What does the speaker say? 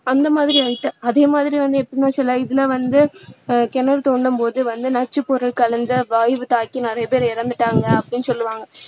அந்த மாதிரி ஆகிட்டு அதே மாதிரி வந்து எப்படின்னா வந்து சில இதுல வந்து கிணறு தோண்டும் போது வந்து நச்சு பொருள் கலந்த வாயு தாக்கி நிறைய பேர் இறந்துட்டாங்க அப்படின்னு சொல்லுவாங்க